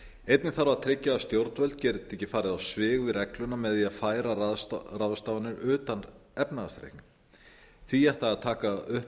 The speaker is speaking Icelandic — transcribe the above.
einnig þarf að tryggja að stjórnvöld geti ekki farið á svig við regluna með því að færa ráðstafanir utan efnahagsreiknings því ætti að taka upp